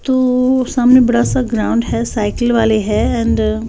तो ओ सामने बड़ा सा ग्राउंड है साइकिल वाले है एंड --